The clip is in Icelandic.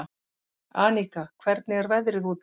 Aníka, hvernig er veðrið úti?